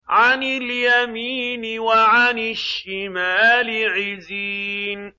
عَنِ الْيَمِينِ وَعَنِ الشِّمَالِ عِزِينَ